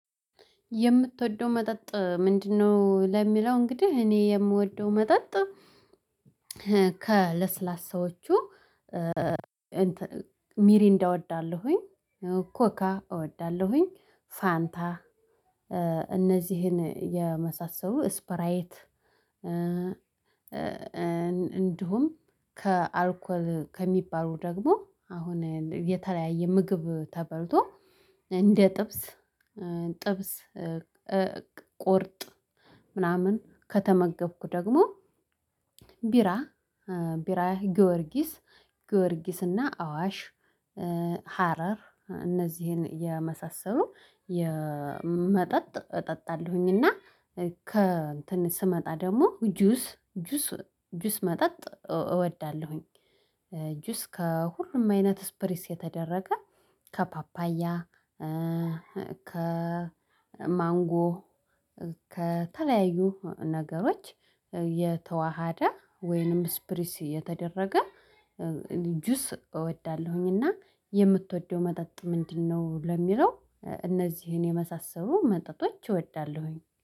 የምትወደው መጠጥ ምንድነው? ለሚለው እንግዲህ እኔ የምወደው መጠጥ ከለስላሳዎቹ ሚሪንዳ እወዳለሁኝ ኮካ እወዳለሁኝ ፋንታ እነዚህን የመሳሰሉ ስፕራይት። እንዲሁም ከአልኮል ከሚባሉ ደግሞ አሁን የተለያየ ምግብ ተበልቶ እንደ ጥብስ ጥብስ ቁርጥ ምናምን ከተመገብኩ ደግሞ ቢራ ቢራ ጊዮርጊስ ጊዮርጊስ እና አዋሽ ሀረር እነዚህን የመሳሰሉ የመጠጥ እጠጣለሁኝ። እና ከ እንትን ስመጣ ደግሞ ጁስ ጁስ ጁስ መጠጥ እወዳለሁኝ ጁስ ከሁሉም አይነት ስፕሪስ የተደረገ ከፓፓያ ከማንጎ ከተለያዩ ነገሮች የተዋሃደ ወይንም ስፕሪሲ የተደረገ ጁስ እወዳለሁኝ። እና የምትወደው መጠጥ ምንድነው? ለሚለው እነዚህን የመሳሰሉ መጠጦች እወዳለሁኝ።